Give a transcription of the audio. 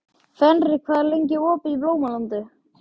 Fenrir, hvað er lengi opið í Blómalandi?